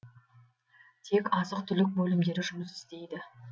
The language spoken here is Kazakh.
тек азық түлік бөлімдері жұмыс істейді